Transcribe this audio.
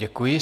Děkuji.